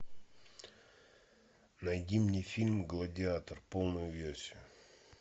найди мне фильм гладиатор полную версию